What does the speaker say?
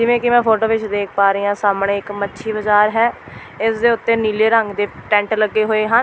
ਜਿਵੇਂ ਕਿ ਮੈਂ ਫੋਟੋ ਵਿੱਚ ਦੇਖ ਪਾ ਰਹੀ ਹਾਂ ਸਾਹਮਣੇ ਇੱਕ ਮੱਛੀ ਬਾਜ਼ਾਰ ਹੈ ਇਸ ਦੇ ਉੱਤੇ ਨੀਲੇ ਰੰਗ ਦੇ ਟੈਂਟ ਲੱਗੇ ਹੋਏ ਹਨ।